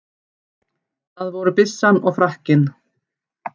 Það voru byssan og frakkinn.